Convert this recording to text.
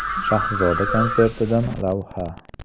Shahzoda konsertidan lavha.